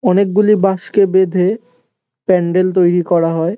অনেকগুলি বাঁশকে বেঁধে প্যান্ডেল তৈরি করা হয়।